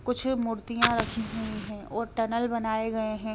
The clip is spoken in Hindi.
कुछ मूर्तियां रखी हुई है और टनल बनाए गए हैं।